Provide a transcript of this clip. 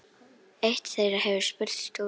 Eitt þeirra hefur spurst út.